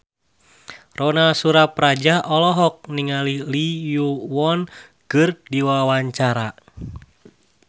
Ronal Surapradja olohok ningali Lee Yo Won keur diwawancara